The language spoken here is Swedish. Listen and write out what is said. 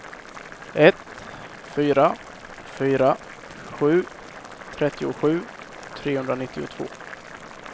ett fyra fyra sju trettiosju trehundranittiotvå